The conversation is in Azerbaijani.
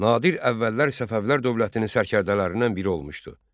Nadir əvvəllər Səfəvilər dövlətinin sərkərdələrindən biri olmuşdu.